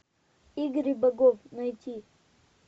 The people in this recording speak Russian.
игры богов найти